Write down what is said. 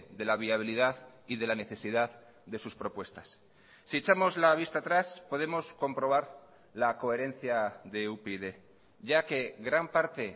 de la viabilidad y de la necesidad de sus propuestas si echamos la vista atrás podemos comprobar la coherencia de upyd ya que gran parte